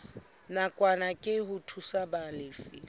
nakwana ke ho thusa balefi